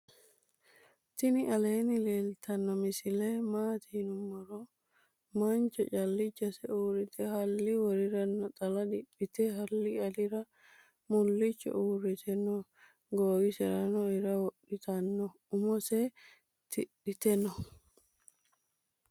tinni aleni leltano misile maati yinumoro. mancho calichose urite hali worira naaxala diphite ahali alira mulicho uurite noo. gowiserano iira wodhitono umose tidhite noo.